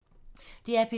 DR P2